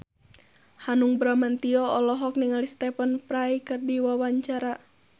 Hanung Bramantyo olohok ningali Stephen Fry keur diwawancara